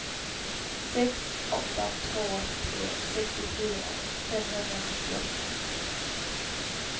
sex åtta två tre sextiofyra femhundranittioåtta